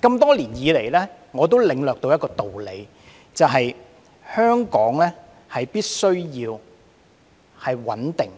這麼多年以來，我領略的一個道理是，香港必須穩定，